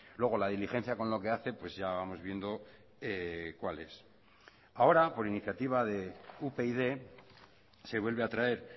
luego la diligencia con lo que hace pues ya vamos viendo cuál es ahora por iniciativa de upyd se vuelve a traer